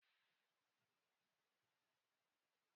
Kolonel abịaghị tata.